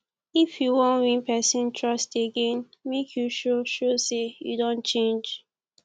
if you wan win pesin trust again make you show show sey you don change